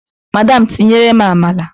Madam tinyerem amala!